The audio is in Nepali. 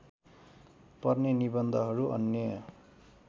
पर्ने निबन्धहरू अन्य